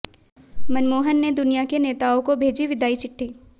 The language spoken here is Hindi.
मनमोहन ने दुनिया के नेताओं को भेजी विदाई चिट्ठी